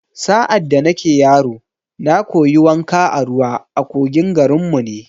Sa’ad da nake yaro, na koyi wanka a ruwa a kogin garin mu ne